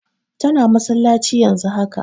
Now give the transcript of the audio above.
Tana masallaci yanzun haka